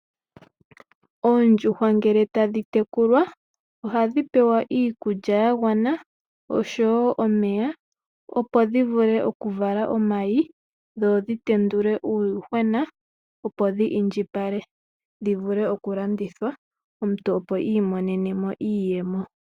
Oondjuhwa ngele tadhi tekulwa ohadhi pewa iikulya yangwana oshowo omeya opo dhivule oku vala omayi dhodhi tendule uuyuhwena opo dhi indjipale dhivule oku landithwa omuntu opo iimonene mo iiyemo.